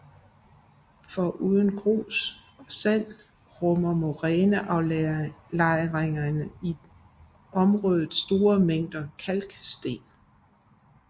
Foruden grus og sand rummer moræneaflejringerne i området store mængder kalksten